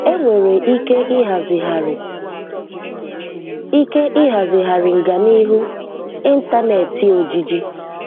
Enwere ike ịhazighari ike ịhazighari nganiihu 'ịntanetị - ojiji